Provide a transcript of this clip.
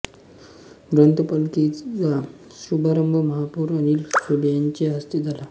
ग्रंथपालखीचा शुभारंभ महापौर अनिल सोले यांच्या हस्ते झाला